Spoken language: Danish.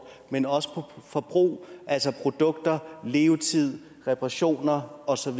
men også på forbrug altså produkter levetid reoperationer og så